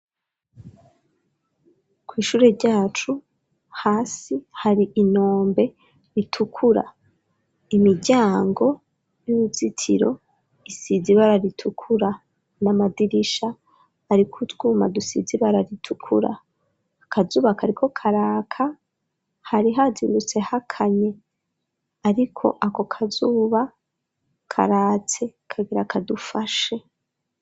Kw'ishure ryacu hasi hari intombe ritukura imiryango y'uruzitiro isize ibara ritukura n'amadirisha ariko utwuma dusize ibara ritukura akazuba kariko karaka hari hazirutse hakanye ariko ako kazuba karatse kagira kadufashe.